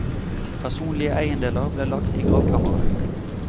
Personlige eiendeler ble lagt i gravkammeret.